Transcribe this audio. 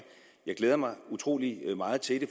jeg glæder mig utrolig meget til det